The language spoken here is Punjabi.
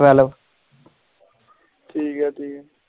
twelve